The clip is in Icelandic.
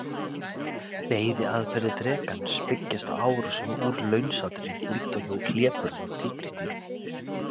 Veiðiaðferðir drekans byggjast á árásum úr launsátri líkt og hjá hlébörðum og tígrisdýrum.